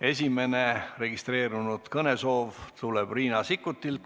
Esimene registreeritud kõne tuleb Riina Sikkutilt.